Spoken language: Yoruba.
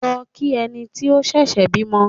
Lọ kí ẹni tí ó ṣẹ̀ṣẹ̀ bímọ!